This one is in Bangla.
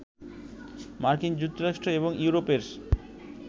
মার্কিন যুক্তরাষ্ট্র এবং ইউরোপের